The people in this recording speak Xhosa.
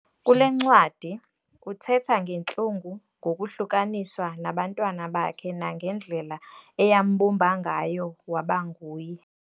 Kule ncwadi, uthetha ngentlungu ngokuhlukaniswa nabantwana bakhe nange ndlela eyambumba ngayo wabanguye.